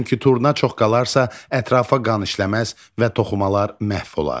Çünki turna çox qalarsa, ətrafa qan işləməz və toxumalar məhv olar.